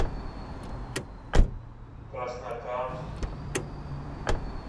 краснокамск